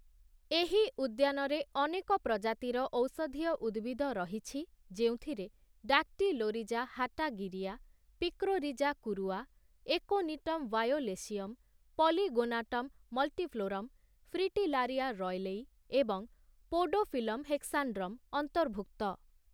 ଏହି ଉଦ୍ୟାନରେ ଅନେକ ପ୍ରଜାତିର ଔଷଧୀୟ ଉଦ୍ଭିଦ ରହିଛି, ଯେଉଁଥିରେ Dactylorhiza hatagirea, Picrorhiza kurroa, Aconitum violaceum, Polygonatum multiflorum, Fritillaria roylei, ଏବଂ ପୋଡୋଫିଲମ୍ ହେକ୍ସାଣ୍ଡ୍ରମ୍ ଅନ୍ତର୍ଭୁକ୍ତ ।